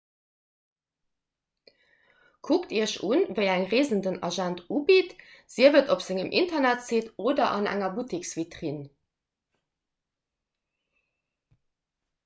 kuckt iech un wéi eng reesen den agent ubitt sief et op sengem internetsite oder an enger butteksvitrinn